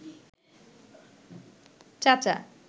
চাচা